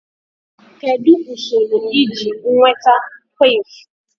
Kedu usoro iji nweta quiff?